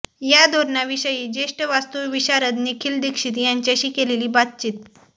या धोरणाविषयी ज्येष्ठ वास्तुविशारद निखिल दीक्षित यांच्याशी केलेली बातचीत